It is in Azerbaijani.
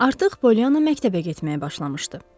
Artıq Polyanna məktəbə getməyə başlamışdı.